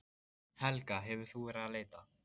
Helga: Hefur þú verið að leita?